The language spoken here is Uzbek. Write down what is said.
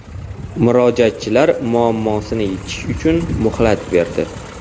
Murojaatchilar muammosini yechish uchun muhlat berdi.